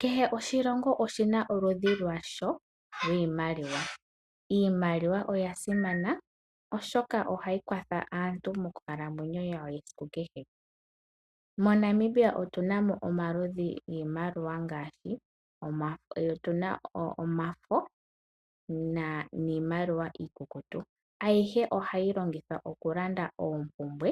Kehe oshilongo oshi na oludhi lwasho lwiimaliwa. Iimaliwa oya simana oshoka ohayi kwatha aantu moonkalamweyo dhawo dha kehe siku. MoNamibia otu na mo omaludhi giimaliwa ngaashi omafo niimaliwa iikukutu. Ayihe ohayi longithwa okulanda oompumbwe